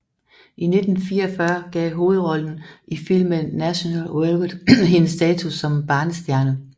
I 1944 gav hovedrollen i filmen National Velvet hende status som barnestjerne